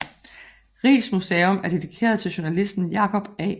Riis Museum er dedikeret til journalisten Jacob A